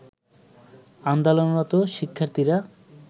আন্দোলনরত শিক্ষার্থীরা